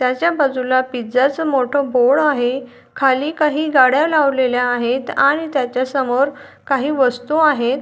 त्याच्या बाजूला पिझ्झा च मोठ बोर्ड आहे खाली काही गाड्या लावलेल्या आहेत आणि त्याच्यासमोर काही वस्तु आहेत.